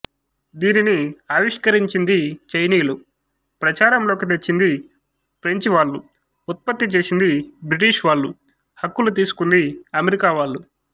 దీనిని ఆవిష్కరించింది చైనీయులు ప్రచారంలోకి తెచ్చింది ఫ్రెంచివాళ్లు ఉత్పత్తి చేసింది బ్రిటిష్ వాళ్లు హక్కులు తీసుకుంది అమెరికా వాళ్లు